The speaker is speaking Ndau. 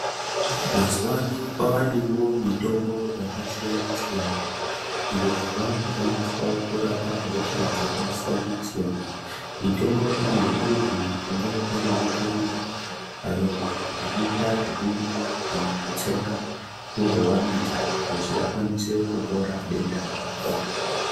Mazuva ano kwa vanewo mitombo yaka siyana siyana iyo yavaku shandiswa kurapa hosha dzaka siyana siyana mitombo iyi inogona kunge ari mapirizi ayo mamwe anoita zveku mwiwa kana kutsenga wobva wamedza kuti ukwanise kupora denda rako.